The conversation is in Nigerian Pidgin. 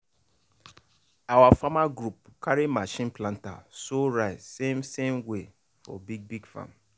our farmer group carry machine planter sow rice same same way for big big farm.